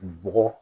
Bɔgɔ